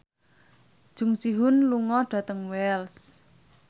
Jung Ji Hoon lunga dhateng Wells